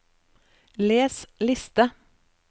les liste